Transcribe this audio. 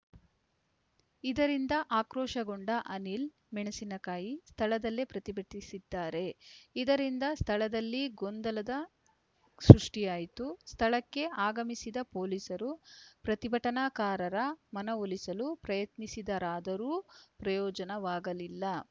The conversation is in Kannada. ಇದರಿಂದ ಆಕ್ರೋಶಗೊಂಡ ಅನಿಲ್‌ ಮೆಣಸಿನಕಾಯಿ ಸ್ಥಳದಲ್ಲೇ ಪ್ರತಿಭಟಿಸಿದ್ದಾರೆ ಇದರಿಂದ ಸ್ಥಳದಲ್ಲಿ ಗೊಂದಲದ ಸೃಷ್ಟಿಯಾಯಿತು ಸ್ಥಳಕ್ಕೆ ಆಗಮಿಸಿದ ಪೊಲೀಸರು ಪ್ರತಿಭಟನಾಕಾರರ ಮನವೊಲಿಸಲು ಪ್ರಯತ್ನಿಸಿದರಾದರೂ ಪ್ರಯೋಜವಾಗಲಿಲ್ಲ